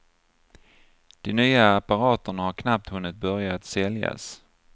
De nya apparaterna har knappt hunnit börja att säljas.